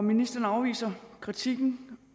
ministeren afviser kritikken